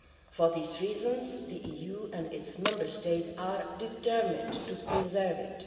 For these reasons, the EU and its Member States are determined to preserve it.